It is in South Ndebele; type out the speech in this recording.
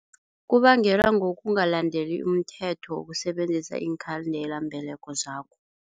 Kubangelwa ngokungalandeli umthetho wokusebenzisa iinkhandelambeleko zakho.